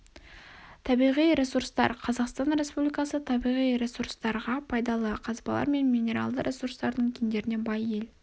табиғи ресурстар қазақстан республикасы табиғи ресурстарға пайдалы қазбалар мен минералды ресурстардың кендеріне бай ел